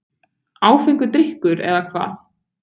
Áfengur drykkur, eða hvað?